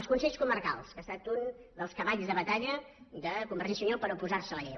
els consells comarcals que ha estat un dels cavalls de batalla de convergència i unió per oposar se a la llei